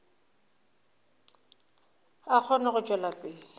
a kgone go tšwela pele